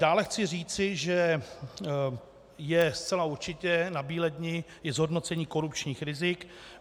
Dále chci říci, že je zcela určitě nabíledni i zhodnocení korupčních rizik.